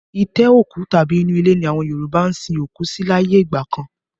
Itẹ́ òkú tàbí inú ilé ni àwọn Yoruba ń sin òkú sí láyé ìgbà kan